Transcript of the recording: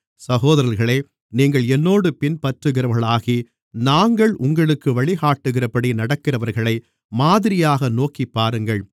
சகோதரர்களே நீங்கள் என்னோடு பின்பற்றுகிறவர்களாகி நாங்கள் உங்களுக்கு வழிகாட்டுகிறபடி நடக்கிறவர்களை மாதிரியாக நோக்கிப் பாருங்கள்